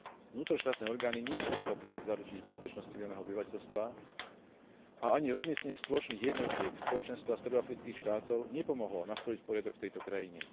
Vnútroštátne orgány nie sú schopné zaručiť bezpečnosť civilného obyvateľstva a ani rozmiestnenie spoločných jednotiek Spoločenstva stredoafrických štátov nepomohlo nastoliť poriadok v tejto krajine.